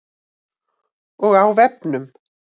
Og á vefnum.